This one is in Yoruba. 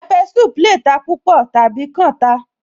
Pepper soup lè ta púpọ̀ tàbí kan ta